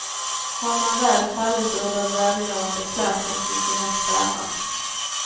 Har man väl fallit ur den välmående klassen, finns inga spärrar.